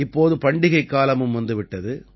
இப்போது பண்டிகைக் காலமும் வந்துவிட்டது